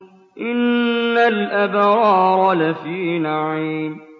إِنَّ الْأَبْرَارَ لَفِي نَعِيمٍ